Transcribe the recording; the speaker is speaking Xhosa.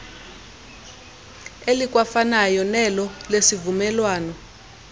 elikwafanayo nelo lesivumelwano